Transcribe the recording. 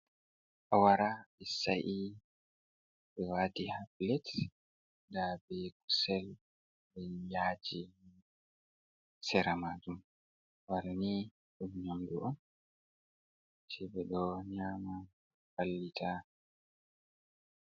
A wara sa'i ɓe wati ha pilet ndabe kusel be yaji ha sera majum awarani nyamdu on ɓe ɗo nyama ɗo vallita.